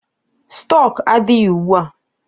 Stọk adịghị ugbua.